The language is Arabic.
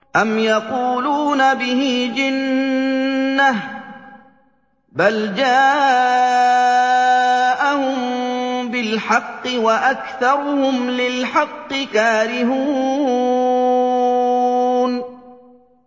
أَمْ يَقُولُونَ بِهِ جِنَّةٌ ۚ بَلْ جَاءَهُم بِالْحَقِّ وَأَكْثَرُهُمْ لِلْحَقِّ كَارِهُونَ